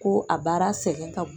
Ko a baara sɛgɛn ka bon.